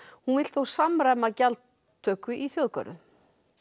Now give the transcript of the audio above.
hún vill þó samræma gjaldtöku í þjóðgörðum